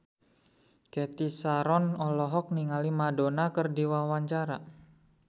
Cathy Sharon olohok ningali Madonna keur diwawancara